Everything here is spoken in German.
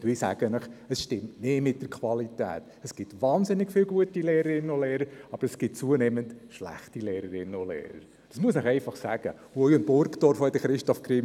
Jede Massnahme, die wir hier gegen den Lehrinnen- und Lehrermangel ergreifen werden, wird kosten.